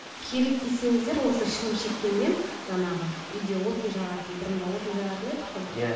керек десеңіздер осы шылым шеккен мен жаңағы үйде отын жағатын бұрын да отын жағатын едік қой иә